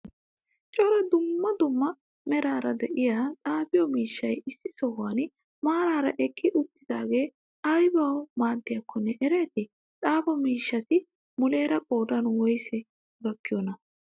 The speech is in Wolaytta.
cora duummaa duummaa merara de'iya xaafiyo miishshay issi sohuwan maarara eqqi uttidagee aybawu maadiyakkone ereeti? xaafo miishshati muleera qodan woysa gaakkiyonaa?